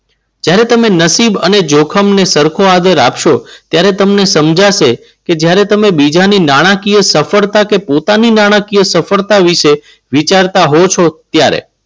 જ્યારે તમે નસીબ અને જોખમને સરખો આદર આપશો ત્યારે તમને સમજાશે કે જ્યારે તમે બીજાની નાણાકીય સફળતા કે પોતાના ની નાણાકીય સફળતા વિશે વિચારતા હોવ છો ત્યારે.